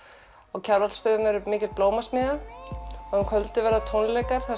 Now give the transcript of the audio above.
á Kjarvalsstöðum verður mikil blómasmiðja og um kvöldið verða tónleikar þar